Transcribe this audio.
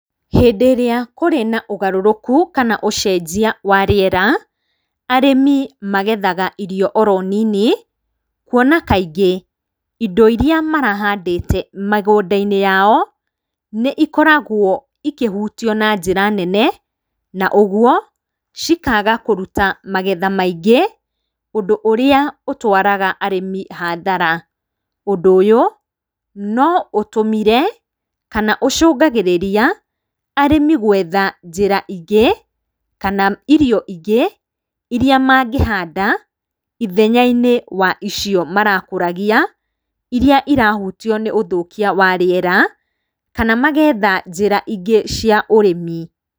Hĩndĩ ĩrĩa kũrĩ na ũgarũrũku kana ũcenjia wa rĩera, arĩmi magethaga irio oro nini, kuona kaingĩ indo iria marahandĩte mĩgũnda-inĩ yao, nĩ ikoragwo ikĩhutio na njĩra nene na ũguo, cikaga kũruta magetha maingĩ na ũndũ ũrĩa ũtwaraga arĩmi hathara. Ũndũ ũyũ, no ũtũmire kana ũcũngagĩrĩria arĩmi gũetha njĩra ingĩ kana irio ingĩ iria mangĩhanda ithenya-inĩ wa icio marakũragia iria irahutio nĩ ũthũkia wa rĩera, kana magetha njĩra ingĩ cia ũrĩmi.